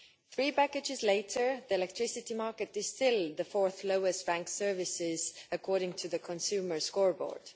Three packages later, the electricity market is still the fourth-lowest ranked service according to the Consumer Scoreboard.